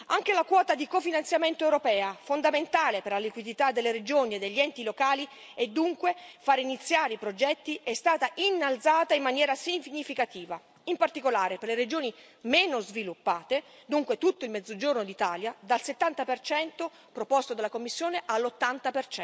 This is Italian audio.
Anche la quota di cofinanziamento europea, fondamentale per la liquidità delle regioni e degli enti locali, e dunque far iniziare i progetti, è stata innalzata in maniera significativa, in particolare per le regioni meno sviluppate, dunque tutto il Mezzogiorno d'Italia, dal 70 proposto dalla Commissione all'80